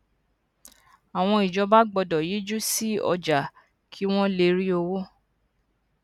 àwọn ìjọba gbódò yíjú sí ọjà kí wón lè rí owó